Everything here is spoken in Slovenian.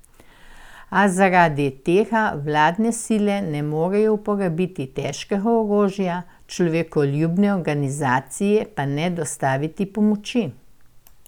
A zaradi tega vladne sile ne morejo uporabiti težkega orožja, človekoljubne organizacije pa ne dostaviti pomoči.